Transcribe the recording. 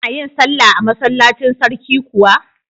Kana yin sallah a masallacin sarki kuwa?